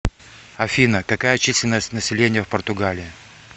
афина какая численность населения в португалии